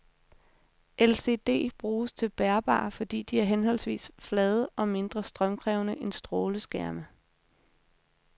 LCD bruges til bærbare, fordi de er forholdsvis flade og mindre strømkrævende end stråleskærme.